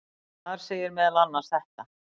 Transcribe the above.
Þar segir meðal annars þetta: